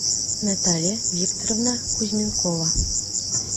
наталья викторовна кузьменкова